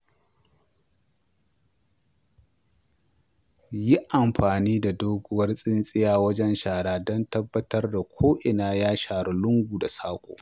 Yi amfani da doguwar tsintsiya wajen shara don tabbatar da ko'ina ya sharu lungu da saƙo.